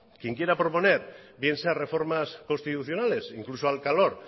quien quiera proponer bien sea reformas constitucionales incluso al calor